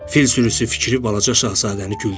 Fil sürüsü fikri balaca şahzadəni güldürdü.